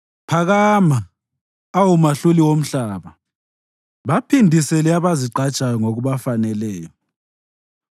Phakama, awu Mahluli womhlaba; baphindisele abazigqajayo ngokubafaneleyo.